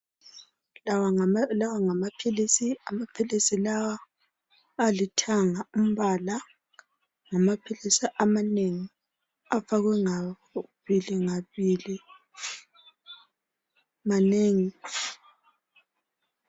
Lawa ngamaphilisi, amaphilisi lawa alithanga umbala. Ngamaphilisi amanengi afakwe ngabili ngabili, manengi.